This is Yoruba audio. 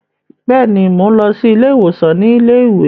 Bẹ́ẹ̀ni, Mo n lọ si ile-iwosan ti ile-iwe